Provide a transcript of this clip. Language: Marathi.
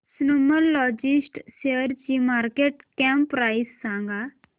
स्नोमॅन लॉजिस्ट शेअरची मार्केट कॅप प्राइस सांगा